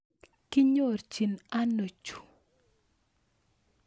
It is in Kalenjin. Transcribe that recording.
Kinyorchin ano chu